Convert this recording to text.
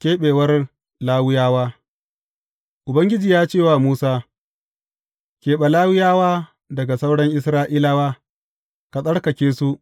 Keɓewar Lawiyawa Ubangiji ya ce wa Musa, Keɓe Lawiyawa daga sauran Isra’ilawa, ka tsarkake su.